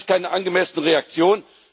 Das ist keine angemessene Reaktion.